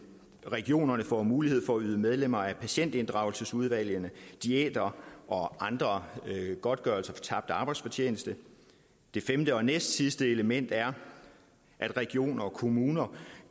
regionerne får mulighed for at yde medlemmer af patientinddragelsesudvalgene diæter og andre godtgørelser for tabt arbejdsfortjeneste det femte og næstsidste element er at regioner og kommuner